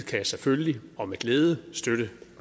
kan selvfølgelig og med glæde støtte